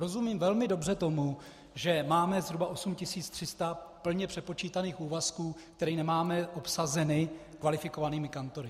Rozumím velmi dobře tomu, že máme zhruba 8300 plně přepočítaných úvazků, které nemáme obsazeny kvalifikovanými kantory.